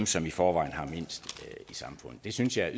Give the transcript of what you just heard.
som i forvejen har mindst i samfundet det synes jeg er